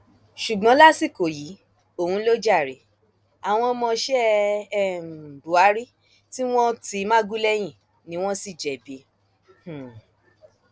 ṣùgbọn lásìkò yìí òun ló jàre àwọn ọmọọṣẹ um buhari tí wọn ti magu lẹyìn ni wọn sì jẹbi um